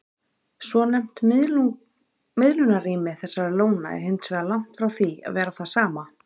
Svonefnt miðlunarrými þessara lóna er hins vegar langt frá því að vera það sama.